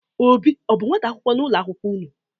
Obi ọ bụ nnwata akwụkwọ n'ụlọ akwụkwo unu?